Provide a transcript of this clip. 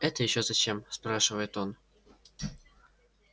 это ещё зачем спрашивает он